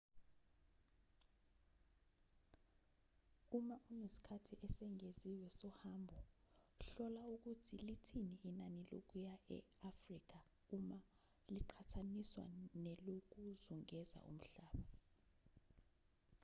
uma unesikhathi esengeziwe sohambo hlola ukuthi lithini inani lokuya e-afrika uma liqhathaniswa nelokuzungeza umhlaba